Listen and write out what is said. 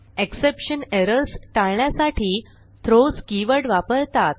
exception errors टाळण्यासाठी throws keyword वापरतात